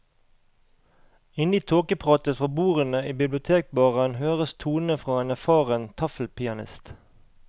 Inne i tåkepratet fra bordene i bibliotekbaren høres tonene fra en erfaren taffelpianist.